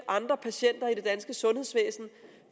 andre patienter i det danske sundhedsvæsen